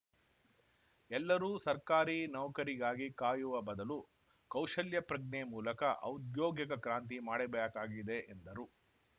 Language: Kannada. ಎಲ್ಲರೂ ಸರ್ಕಾರಿ ನೌಕರಿಗಾಗಿ ಕಾಯುವ ಬದಲು ಕೌಶಲ್ಯ ಪ್ರಜ್ಞೆ ಮೂಲಕ ಔದ್ಯೋಗಿಕ ಕ್ರಾಂತಿ ಮಾಡಬೇಕಾಗಿದೆ ಎಂದರು